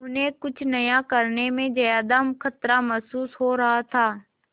उन्हें कुछ नया करने में ज्यादा खतरा महसूस हो रहा था